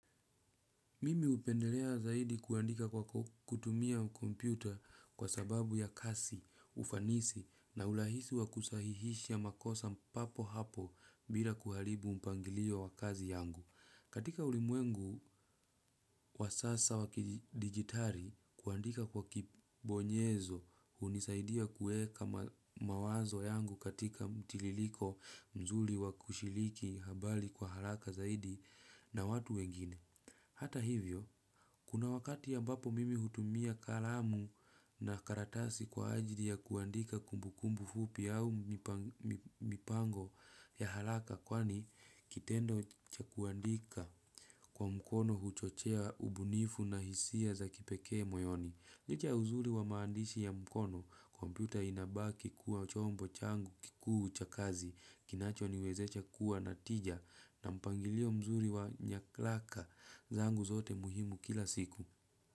Mimi hupendelea zaidi kuandika kwa kutumia kompyuta kwa sababu ya kasi, ufanisi na urahisi wa kusahihisha makosa papo hapo bila kuharibu mpangilio wa kazi yangu. Katika ulimwengu wa sasa wa kidigitali kuandika kwa kibonyezo hunisaidia kuweka mawazo yangu katika mtiririko mzuri wa kushiriki habari kwa haraka zaidi na watu wengine. Hata hivyo, kuna wakati ambapo mimi hutumia kalamu na karatasi kwa ajali ya kuandika kumbukumbu fupi au mipango ya haraka kwani kitendo cha kuandika kwa mkono huchochea ubunifu na hisia za kipekee moyoni. Licha ya uzuri wa maandishi ya mkono, kompyuta inabaki kuwa chombo changu kikuu cha kazi, kinachoniwezesha kuwa na tija na mpangilio mzuri wa nyaraka, zangu zote muhimu kila siku.